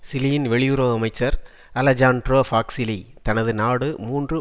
சிலியின் வெளியுறவு அமைச்சர் Alejandro Foxley தனது நாடு மூன்று